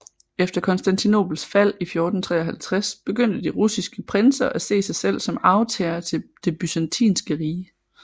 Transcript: Efter Konstantinopels fald i 1453 begyndte de russiske prinser at se sig selv som arvtagere til Det Byzantinske Rige